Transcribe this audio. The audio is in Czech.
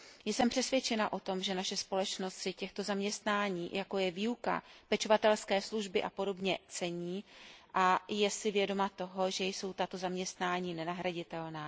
Jsem přesvědčena o tom, že naše společnost si těchto zaměstnání, jako je výuka, pečovatelské služby a podobně, cení a je si vědoma toho, že tato zaměstnání jsou nenahraditelná.